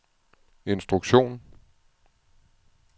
instruktion